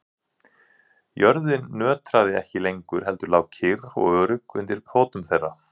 Jörðin nötraði ekki lengur heldur lá kyrr og örugg undir fótum þeirra.